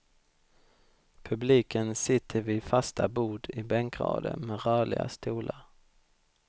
Publiken sitter vid fasta bord i bänkrader med rörliga stolar.